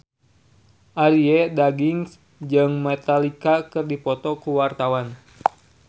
Arie Daginks jeung Metallica keur dipoto ku wartawan